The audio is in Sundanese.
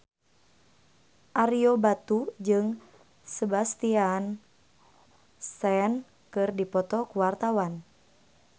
Ario Batu jeung Sebastian Stan keur dipoto ku wartawan